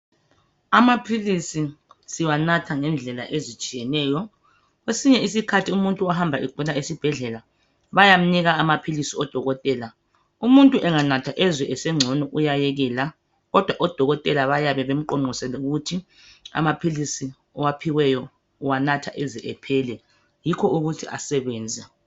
Amaphilisi siwanatha ngendlela ezitshiyeneyo. Kwesinye isikhathi umuntu ohamba esibhedlela egula bayamnika amaphilisi odokotela umuntu enganatha ezizwe esengcono uyayekela, kodwa odokotela bayabe bemqonqosele ukuthi amaphilisi awaphiweyo uwanatha aze ephele yikho ukuthi asebenze.